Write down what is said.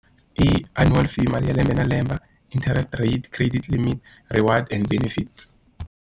I annual fee mali ya lembe na lembe, interest rate, credit limit reward and benefit.